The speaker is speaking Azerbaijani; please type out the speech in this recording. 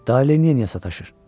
Day Lenny-ə niyə sataşır?